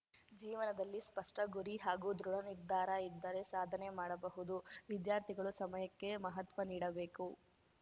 ಜೀವನದಲ್ಲಿ ಸ್ಪಷ್ಟಗುರಿ ಹಾಗೂ ದೃಢ ನಿರ್ಧಾರ ಇದ್ದರೆ ಸಾಧನೆ ಮಾಡಬಹುದು ವಿದ್ಯಾರ್ಥಿಗಳು ಸಮಯಕ್ಕೆ ಮಹತ್ವ ನೀಡಬೇಕು